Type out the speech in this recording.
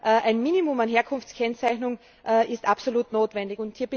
Aber ein Minimum an Herkunftskennzeichnung ist absolut notwendig.